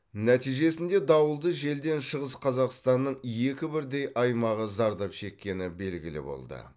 нәтижесінде дауылды желден шығыс қазақстанның екі бірдей аймағы зардап шеккені белгілі болды